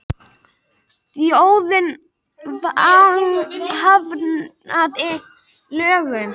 Þjóðin hafnaði lögunum